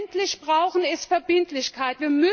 Was wir endlich brauchen, ist Verbindlichkeit.